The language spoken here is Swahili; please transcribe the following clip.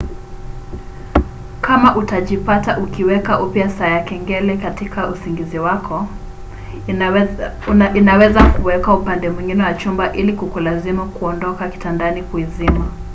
kama utajipata ukiweka upya saa ya kengele katika usingizi wako inaweza kuwekwa upande mwingine wa chumba ili kukulazimu kuondoka kitandani kuizima